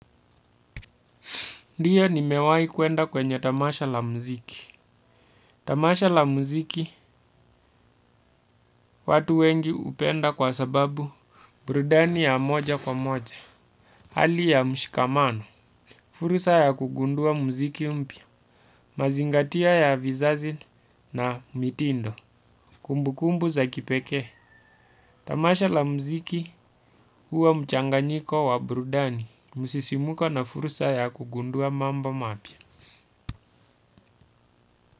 Ndiyo nimewahi kwenda kwenye tamasha la muziki. Tamasha la muziki watu wengi hupenda kwa sababu burudani ya moja kwa moja. Hali ya mshikamano, fursa ya kugundua muziki mpya, mazingatio ya vizazi na mitindo, kumbukumbu za kipekee. Tamasha la muziki huwa mchanganyiko wa burudani, msisimko na fursa ya kugundua mambo mapya.